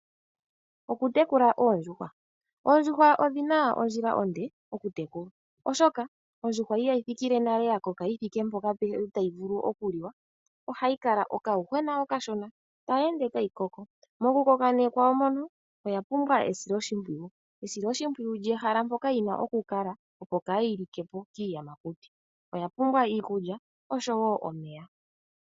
Okutekula oondjuhwa, oondjuhwa odhina ondjila onde okutekulwa, oshoka ondjuhwa ihayi thikile nale ya koka yi thike mpoka tayi vulu okuliwa, ihe ohayi kala okayuhwena okashona tayi ende tayi koko, mokukoka ne kwayo mono oya pumbwa esiloshimpwiyu, esiloshimpwiyu lyehala mpoka yi na okukala opo kaayi li ke po kiiyamakuti, oya pumbwa iikulya oshowo omeya.